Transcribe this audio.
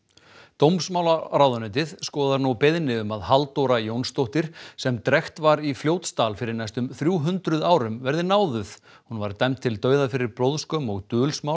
dómsmálaráðuneytið skoðar nú beiðni um að Halldóra Jónsdóttir sem drekkt var í Fljótsdal fyrir næstum þrjú hundruð árum verði náðuð hún var dæmd til dauða fyrir blóðskömm og